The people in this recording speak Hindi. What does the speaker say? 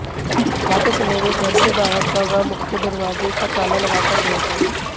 जाते समय वे घर से बाहर का व मुख्य दरवाजे का ताला लगाकर गए थे